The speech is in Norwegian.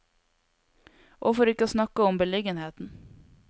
Og for ikke å snakke om beliggenheten!